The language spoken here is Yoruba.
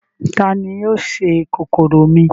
Ta ni yóò se kòkòrò mi?